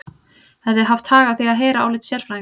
Hefði haft hag að því að heyra álit sérfræðinga.